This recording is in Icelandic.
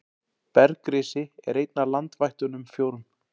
Bergrisi er einn af landvættunum fjórum.